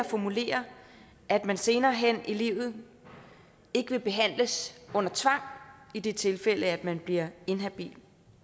formulere at man senere hen i livet ikke vil behandles under tvang i det tilfælde at man bliver inhabil